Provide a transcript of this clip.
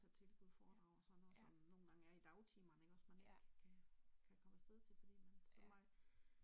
Der er tilbud og foredrag og sådan noget som nogengange er i dagstimerne ikke også man ikke kan kan komme afsted til fordi man som mig